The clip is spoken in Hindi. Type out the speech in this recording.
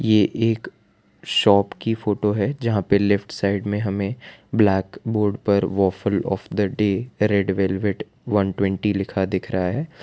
ये एक शॉप की फोटो है जहां पे लेफ्ट साइड में हमें ब्लैक बोर्ड पर waft of the day red velvet one twenty लिखा दिख रहा है।